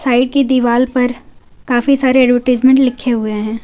Side की दीवाल पर काफी सारे एडवरटाइजमेंट लिखे हुए हैं।